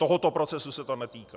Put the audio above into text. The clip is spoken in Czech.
Tohoto procesu se to netýká.